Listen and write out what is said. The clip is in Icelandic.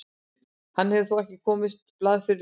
Hann hefur þó ekki komist á blað fyrir liðið.